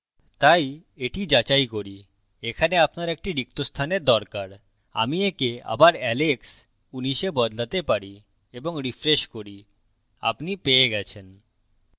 তাই এটি যাচাই করি এখানে আপনার একটি রিক্ত স্থানের দরকার আমি okay আবার alex ১৯ a বদলাতে পারি এবং refresh করি আপনি পেয়ে গেছেন